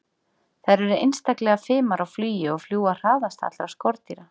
Þær eru einstaklega fimar á flugi og fljúga hraðast allra skordýra.